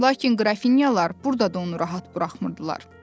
Lakin Qrafinyalar burda da onu rahat buraxmırdılar.